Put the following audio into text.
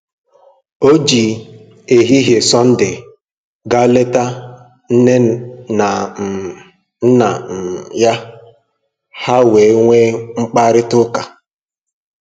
O ji ehihie Sọnde gaa leta nne na um nna um ya, ha wee nwee mkparịta ụka